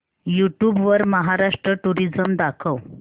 YouTube वर Maharashtra tourism दाखव